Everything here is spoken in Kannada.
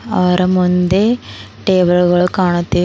ಅವರ ಮುಂದೆ ಟೇಬಲ್ ಗಳು ಕಾಣುತ್ತಿ --